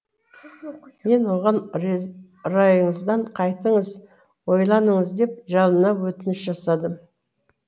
мен оған райыңыздан қайтыңыз ойланыңыз деп жалына өтініш жасадым